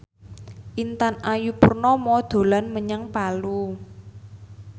Intan Ayu Purnama dolan menyang Palu